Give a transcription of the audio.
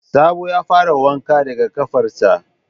Sabo ya fara wanka daga ƙafarsa